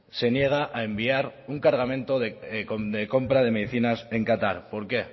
se niega a enviar un cargamento de compra de medicinas en qatar por qué